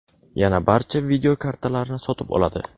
yana barcha video kartalarni sotib oladi.